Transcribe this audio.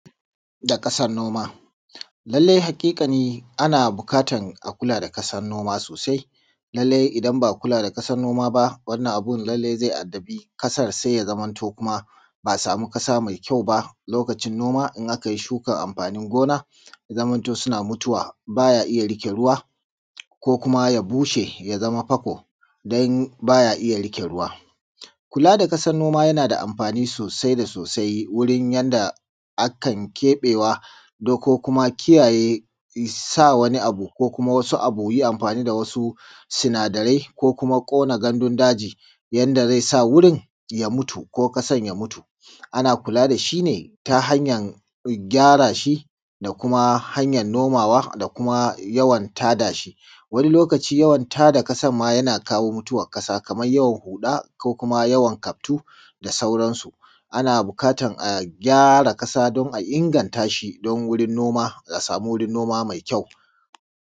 da ƙasar noːma lallai haƙiƙa ni ana bukaːtar a kula da ƙasan noːma sosai lallai idan ba a kula da ƙasan noːma ba wannan abun lallai zai taɓi ƙasar sai ja zamantoː ba a sami ƙasa mai ƙjau ba lokacin noːma idan aka ji ʃuːka da amɸani gina jaː zamantoː suna mutuwa ba ja iya riƙeː ruːwaː koː kuma ja buːʃe ja zama ɸaƙo don ba ja ija riƙe ruwa. Kula da ƙasan noma yana da amfani sosai da sosai wurin yanda akan keɓewa ko kuma kiyaye ko kuma sa wani abu ke ji amfani da wasu suna da rai ko kona gandun daji yanda zai sa wurin ya mutu ko ƙasan ya mutu. Ana kula da shi ne ta hanyan gyara shi da kuma a hanyan nomawa da kuma yawan tada shi. wani lokaʧi jawan tada ƙasar ma jana kawo muːtuːwar ƙasa kamar jawan huːɗa koː kuma jawan kaɸtu da sauransu ana buƙatar a gjaːra ƙasa koː a inganta ʃi don wurin noːma a saːma wurin noːma mai ƙjau